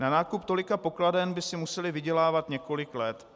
Na nákup tolika pokladen by si museli vydělávat několik let.